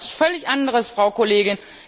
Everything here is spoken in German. Das ist etwas völlig anderes, Frau Kollegin.